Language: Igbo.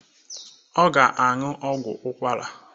Ọ ga-aṅụ ọgwọ ahụ.